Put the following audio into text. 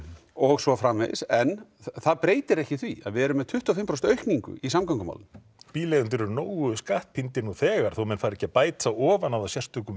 og svo framvegis en það breytir ekki því að við erum með tuttugu og fimm prósent aukningu í samgöngumálum bíleigendur eru nógu skattpíndir nú þegar þó menn fari ekki að bæta ofan á það sérstökum